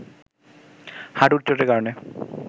হাটুর চোটের কারণে